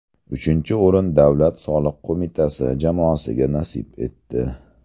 Uchinchi o‘rin Davlat soliq qo‘mitasi jamoasiga nasib etdi.